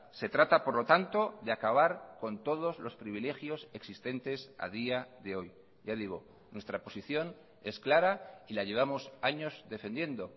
se trata por lo tanto de acabar con todos los privilegios existentes a día de hoy ya digo nuestra posición es clara y la llevamos años defendiendo